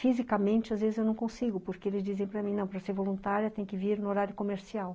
Fisicamente, às vezes, eu não consigo, porque eles dizem para mim, não, para ser voluntária tem que vir no horário comercial.